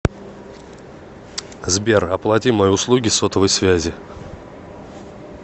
сбер оплати мои услуги сотовой связи